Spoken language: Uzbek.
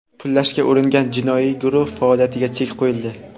pullashga uringan jinoiy guruh faoliyatiga chek qo‘yildi.